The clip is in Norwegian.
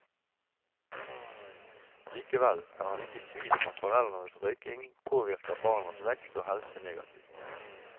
Likevel er han ikke i tvil om at foreldrenes røyking påvirker barnas vekst og helse negativt.